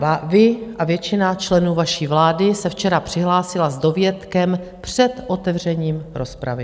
Vy a většina členů vaší vlády se včera přihlásila s dovětkem "před otevřením rozpravy".